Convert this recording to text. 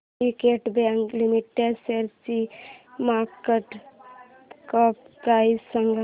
Syndicate bank limited शेअरची market cap price सांगा